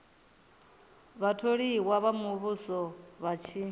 vhatholiwa vha muvhuso vha tshi